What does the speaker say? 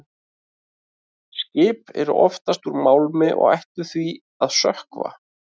Skip eru oftast úr málmi og ættu því að sökkva.